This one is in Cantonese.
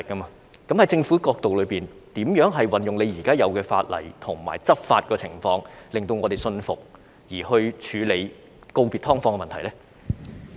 從政府的角度，究竟應如何運用現有法例和執法手段，令我們信服當局有切實處理告別"劏房"的問題呢？